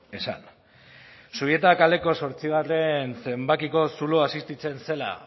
esan zubieta kaleko zortzigarren zenbakiko zuloa existitzen zela